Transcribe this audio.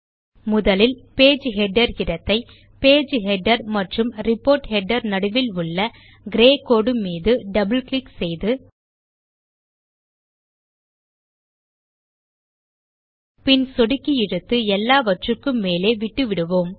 முதலில் page header இடத்தை page header மற்றும் ரிப்போர்ட் ஹெடர் நடுவில் உள்ள கிரே கோடு மீது டபிள் கிளிக் செய்து பின் சொடுக்கி இழுத்து எல்லாவற்றுக்கும் மேலே விட்டு விடுவோம்